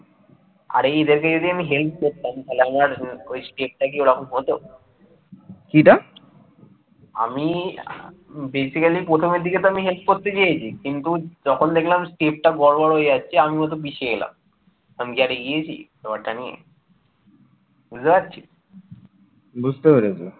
বুঝতে পেরেছি